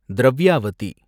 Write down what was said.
Dravyavati